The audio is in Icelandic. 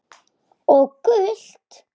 Og gult?